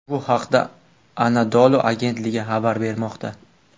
Bu haqda Anadolu agentligi xabar bermoqda .